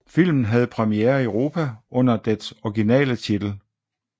Filmen havde premiere i Europa under dets originale titel